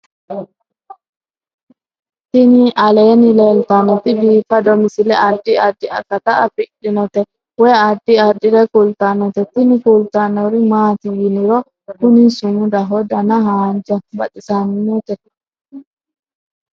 Tini aleenni leetannoti biifado misile adi addi akata afidhinote woy addi addire kultannote tini kultannori maati yiniro kuni sumudaho dana haanja baxissannote